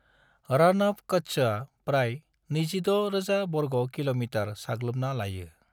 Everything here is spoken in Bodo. रण अफ कच्छआ प्राय 26,000 वर्ग किलोमीटर साग्लोबना लायो।